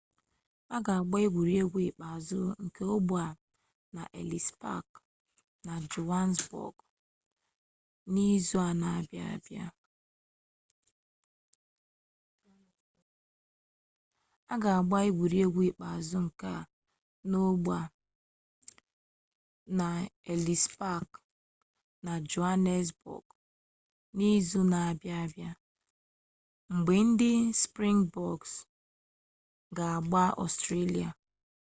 a ga-agba egwuregwu ikpeazụ nke ogbe a n'elis pak na johanesbọg n'izu na-abịa abịa mgbe ndị sprịngbọks ga-agba ọstrelia